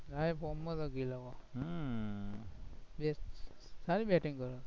હા એ જિલ્લાનો ગિલ સારી batting કરે